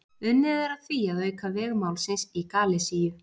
Unnið er að því að auka veg málsins í Galisíu.